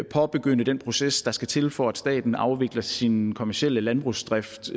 påbegynde den proces der skal til for at staten afvikler sin kommerciel landbrugsdrift